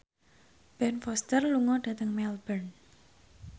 Ben Foster lunga dhateng Melbourne